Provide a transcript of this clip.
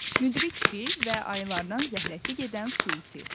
Müdrik fil və Ayılardan zəhrəsi gedən su iti.